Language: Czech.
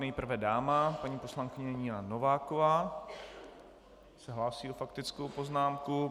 Nejprve dáma, paní poslankyně Nina Nováková se hlásí s faktickou poznámkou.